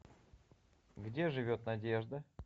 где живет надежда